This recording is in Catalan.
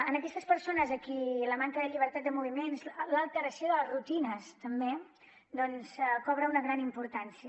en aquestes persones a qui la manca de llibertat de moviments l’alteració de les rutines també doncs té una gran importància